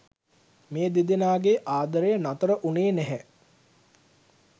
මේ දෙදෙනාගේ ආදරය නතර වුණේ නැහැ.